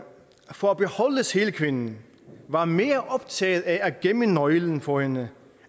for at beholde sælkvinden var mere optaget af at gemme nøglen for hende